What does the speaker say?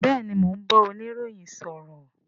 Bẹẹni, mo ń bá oniroyin sọ̀rọ̀